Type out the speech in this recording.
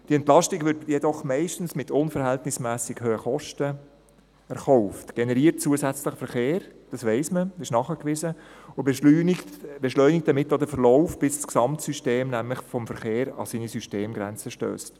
Die Entlastung wird jedoch meistens mit unverhältnismässig hohen Kosten erkauft, generiert zusätzlichen Verkehr – das weiss man, das ist nachgewiesen – und beschleunigt damit auch den Verlauf, bis das Gesamtsystem des Verkehrs an seine Systemgrenzen stösst.